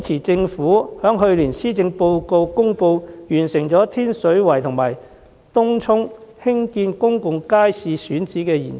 政府在去年的施政報告中公布，已完成天水圍及東涌興建公眾街市的選址研究。